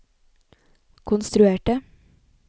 konstruerte